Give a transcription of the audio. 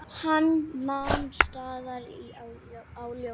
Hann nam staðar á ljósum.